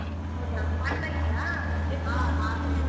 ಹೌದಾ ಮಾಡ್ತಾ ಇದ್ಯ .